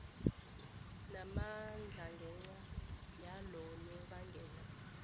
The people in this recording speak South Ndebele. namandla ngenca yalonobangela